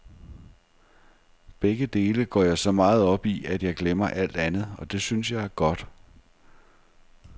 Begge dele går jeg så meget op i, at jeg glemmer alt andet, og det synes jeg er godt.